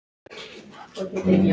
Það er svei mér gott.